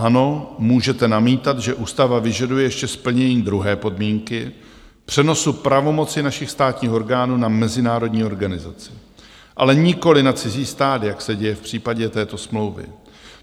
Ano, můžete namítat, že ústava vyžaduje ještě splnění druhé podmínky - přenosu pravomoci našich státních orgánů na mezinárodní organizaci, ale nikoliv na cizí stát, jak se děje v případě této smlouvy.